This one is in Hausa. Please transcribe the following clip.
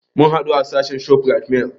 Mun haɗu a sahad shopping mall